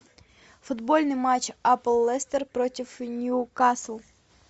футбольный матч апл лестер против ньюкасл